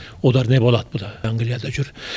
олар не болады бұ да англияда жүр